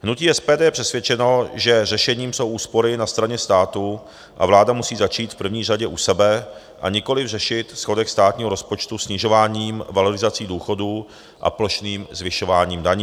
Hnutí SPD je přesvědčeno, že řešením jsou úspory na straně státu, a vláda musí začít v první řadě u sebe, a nikoliv řešit schodek státního rozpočtu snižováním valorizací důchodů a plošným zvyšováním daní.